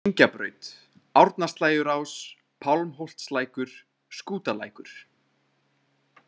Engjabraut, Árnaslægjurás, Pálmholtslækur, Skútalækur